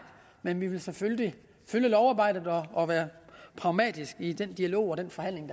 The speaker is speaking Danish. men vi vil selvfølgelig følge lovarbejdet og være pragmatiske i den dialog og den forhandling